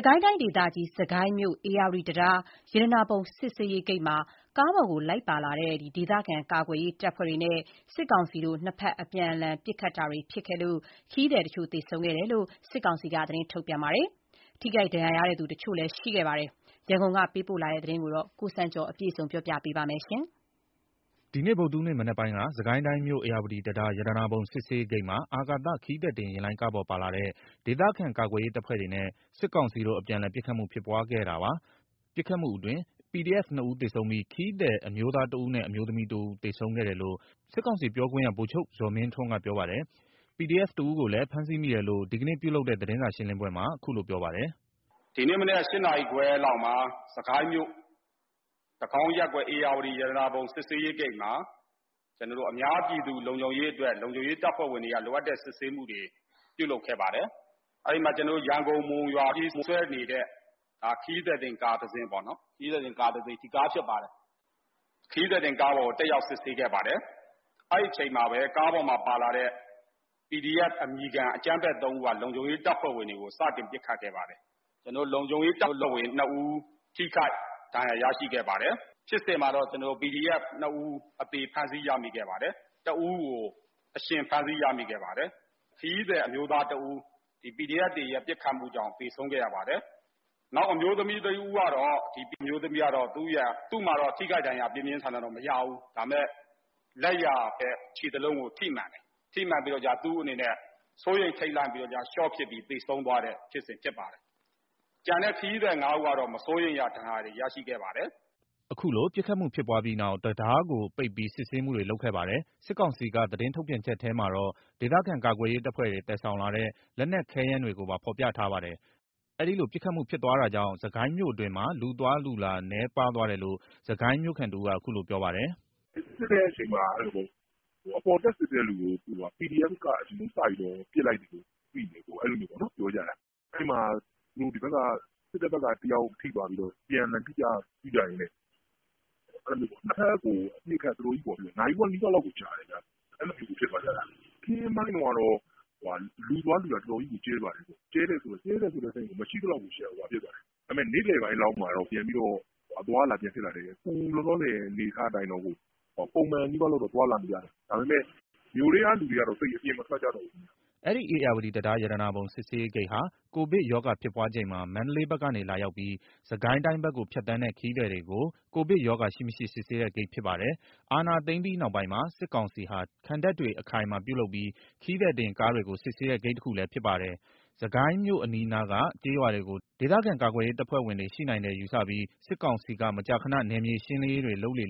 ကိုင်းတိုင်းဒေသကြီး စစ်ကိုင်းမြို့ ဧရာဝတီတံတား ရတနာပုံစစ်ဆေးရေးဂိတ်မှာ ကားပေါ်လိုက် ပါလာတဲ့ ဒေသခံကာကွယ်ရေးတပ်ဖွဲ့တွေနဲ့ စစ်ကောင်စီတို့ အပြန်အလှန်ပစ်ခတ်ခဲ့လို့ ခရီးသည် တချို့သေဆုံးခဲ့ပြီး ထိခိုက်ဒဏ်ရာရသူတွေလည်းရှိခဲ့ကြောင်း စစ်ကောင်စီက သတင်းထုတ်ပြန်ပါတယ်။ ရန်ကုန်က ပေးပို့တဲ့သတင်းကို ကိုစံကျော်က တင်ပြပေးထားပါတယ်။ ဒီနေ့ ဗုဒ္ဓဟူးနေ့ မနက်ပိုင်းက စစ်ကိုင်းမြို့ ဧရာဝတီတံတား ရတနာပုံစစ်ဆေးရေးဂိတ်မှာ အာကာသခရီးသည်တင်ယာဉ်လိုင်းကားပေါ်ပါလာတဲ့ ဒေသခံကာကွယ်ရေးတပ်ဖွဲ့တွေနဲ့ စစ်ကောင်စီတို့ အပြန်အလှန် ပစ်ခတ်မှုဖြစ်ပွားခဲ့တာပါ။ ပစ်ခတ်မှုအတွင်း PDF ၂ ဦးသေဆုံးပြီး ခရီးသည် အမျိုးသားတဦးနဲ့ အမျိုးသမီးတဦး သေဆုံးခဲ့တယ်လို့ စစ်ကောင်စီပြောခွင့်ရ ဗိုလ်ချုပ်ဇော်မင်းထွန်းကပြောပါတယ်။ PDF တဦးကိုလည်းဖမ်းဆီးမိတယ်လု့ိ ဒီနေ့သတင်းစာရှင်းလင်းပွဲမှာ အခုလိုပြောပါတယ်။ “ဒီကနေ့မနက် ၈ နာရီခွဲလောက်မှာ စစ်ကိုင်းမြို့ တကောင်းရပ်ကွက် ဧရာဝတီရတနာပုံ စစ်ဆေးရေးဂိတ်မှာ အများပြည်သူလုံခြုံရေးအတွက် လုံခြုံရေးစစ်ဆေးမှုတွေပြုလုပ်ခဲ့ပါတယ်။ အဲ့မှာ ရန်ကုန်-မုံရွာပြေးဆွဲနေတဲ့ ခရီးသည်တင် ကားတစီးပေါ့နော်။ ခရီးသည်တင်ကားပေါ်ကို တက်ရောက်စစ်ဆေးခဲ့ပါတယ်။ အဲ့အချိန်မှာပဲ ကားပေါ်မှာပါလာတဲ့ PDF အမည်ခံအကြမ်းဖက် ၃ ဦးက လုံခြုံရေးတပ်ဖွဲ့ဝင်တွေကို စတင်ပစ်ခတ်ခဲ့ပါတယ်။ လုံခြုံရေးတပ်ဖွဲ့ဝင် ၂ ဦး ထိခိုက်ဒဏ်ရာ ရရှိခဲ့ပါတယ်။ ဖြစ်စဉ်မှာ PDF နှစ်ဦး အသေဖမ်းဆီးရမိခဲ့ပါတယ်။ တဦးကို အရှင်ဖမ်းဆီးရမိခဲ့ပါတယ်။ ခရီးသည် အမျိုးသားတဦး PDF တွေရဲ့ ပစ်ခတ်မှုကြောင့် သေဆုံးခဲ့ရပါတယ်။ နောက်အမျိုးသမီးတဦးကတော့ ထိခိုက်ဒဏ်ရာ ပြင်းပြင်းထန်ထန်တော့ မရဘူး။ ဒါပေမယ့် လက်ယာဘက် ခြေသလုံးကိုထိမှန်တယ်။ ထိမှန်ပြီး စိုးရိမ်ထိတ်လန့်ပြီး ရှော့ဖြစ်ပြီး သေဆုံးသွားတဲ့ ဖြစ်စဉ်ဖြစ်ပါတယ်။ ကျန်တဲ့ခရီးသည် ၅ ဦးကတော့ မစိုးရိမ်ရ ဒဏ်ရာတွေ ရရှိခဲ့ပါတယ်။” ခုလိုပစ်ခတ်မှုဖြစ်ပွားပြီးနောက် တံတားကို ပိတ်ပြီး စစ်ဆေးမှုတွေလုပ်ခဲ့ပါတယ်။ စစ်ကောင်စီက သတင်းထုတ်ပြန်ချက်ထဲမှာတော့ ဒေသခံကာကွယ်ရေး တပ်ဖွဲ့တွေ သယ်ဆောင်လာတဲ့ လက်နက်ခဲယမ်းတွေကိုပါ ဖော်ပြထားပါတယ်။ အဲ့ဒီလို ပစ်ခတ်မှုဖြစ်သွားတာကြောင့် စစ်ကိုင်းမြို့တွင်းမှာ လူအသွားအလာ နည်းပါးသွားတယ်လို့ စစ်ကိုင်းမြို့ခံတဦးက အခုလိုပြောပါတယ်။ “စစ်တဲ့အချိန်မှာ အပေါ်စစ်တဲ့သူကို PDF က အရင်စပစ်လိုက်တယ်လို့သိတယ်။ စစ်တဲ့ဘက်က တယောက်ထိသွားရင်းနဲ့ အပြန်အလှန်ပစ်ကြရင်း နှစ်ဘက်ကို နာရီဝက်နီးပါးလောက်ကိုကြာတယ်။ အဲ့လောက်ကို ဖြစ်သွားတာ။ နေ့ခင်းပိုင်းလောက်မှာ လူအသွားအလာကျဲသွားတယ်။ ကျဲတယ်ဆိုတာ မရှိသလောက်ကိုဖြစ်သွားတယ်။ ဒါပေမယ့် နေ့လယ်ပိုင်းလောက်မှာ ပြန်ပြီးတော့ အသွား အလာရှိတယ်။ အခုလောလောဆယ်က ပုံမှန်နီးပါးလောက် သွားလာကြတယ်။ ဒါပေမယ့် မြို့ထဲကလူတွေက သိပ်ပြီးတော့ အပြင်မထွက်ကြတော့ဘူး။” အဲ့ဒီ ဧရာဝတီတံတား ရတနာပုံစစ်ဆေးရေးဂိတ်ဟာ ကိုဗစ်ရောဂါဖြစ်ပွားချိန်မှာ မန္တလေးဘက် ကနေ လာရောက်ပြီး စစ်ကိုင်းတိုင်းဘက်ကို ဖြတ်သန်းတဲ့ ခရီးသည်တွေကို ကိုဗစ်ရောဂါ ရှိမရှိ စစ်ဆေးတဲ့ ဂိတ်ဖြစ်ပါတယ်။ အာဏာသိမ်းပြီးနောက်ပိုင်းမှာ စစ်ကောင်စီဟာ ခံတပ်တွေအခိုင်အမာပြုလုပ်ပြီး ခရီးသည်တင်ကားတွေကို စစ်ဆေးတဲ့ဂိတ်တခုလည်း ဖြစ်ပါတယ်။ စစ်ကိုင်းမြို့ အနီးနားက ကျေးရွာတွေကို ဒေသခံကာကွယ်ရေး တပ်ဖွဲ့ဝင်တွေ ရှိနိုင်တယ်ယူဆပြီး စစ်ကောင်စီက မကြာခဏ နယ်မြေရှင်းလင်းရေးတွေလုပ်လေ့